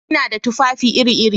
Ina da tufafi iri-iri.